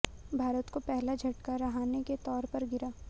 भारत को पहला झटका रहाणे के तौर पर गिरा